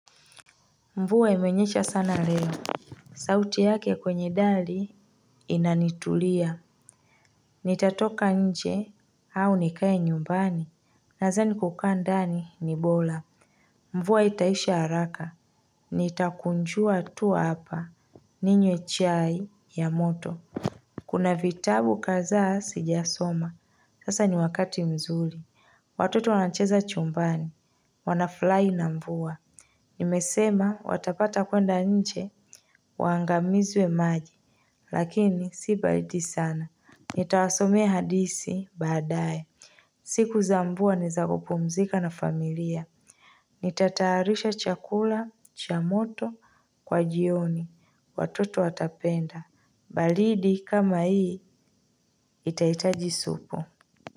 Mvua imenyecha sana leo. Sauti yake kwenye dali Inanitulia. Nitatoka nje au nikae nyumbani. Nazani kukaa ndani ni bora. Mvua itaisha haraka. Nitakunjua tu hapa ninywe chai ya moto kuna vitabu kadhaa sijasoma. Sasa ni wakati mzuli watoto wanacheza chumbani wanafurahi na mvua nimesema watapata kwenda nje waangamizwe maji lakini si baridi sana, nitawasomea hadithi baadae siku za mvua ni za kupumzika na familia nitatayarisha chakula cha motokwa jioni watoto watapenda baridi kama hii itahitaji supu.